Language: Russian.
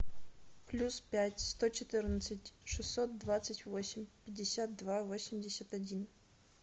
плюс пять сто четырнадцать шестьсот двадцать восемь пятьдесят два восемьдесят один